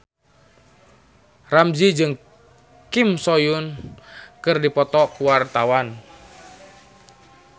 Ramzy jeung Kim So Hyun keur dipoto ku wartawan